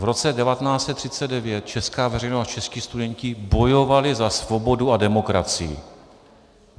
V roce 1939 česká veřejnost a čeští studenti bojovali za svobodu a demokracii.